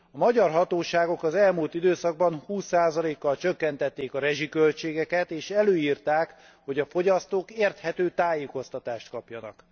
A magyar hatóságok az elmúlt időszakban 20 kal csökkentették a rezsiköltségeket, és előírták, hogy a fogyasztók érthető tájékoztatást kapjanak.